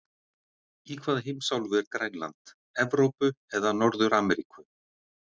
Í hvaða heimsálfu er Grænland, Evrópu eða Norður-Ameríku?